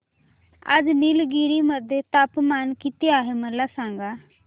आज निलगिरी मध्ये तापमान किती आहे मला सांगा